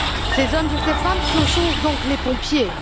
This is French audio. Ces hommes et ces femmes, ce sont donc les pompiers.